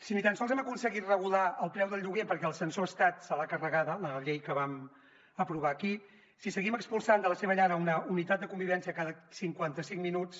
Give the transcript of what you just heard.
si ni tan sols hem aconseguit regular el preu del lloguer perquè el censor estat se l’ha carregada la llei que vam aprovar aquí si seguim expulsant de la seva llar una unitat de convivència cada cinquanta cinc minuts